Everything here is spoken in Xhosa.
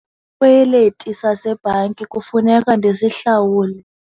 kweliti sasebhanki kufuneka ndisihlawule.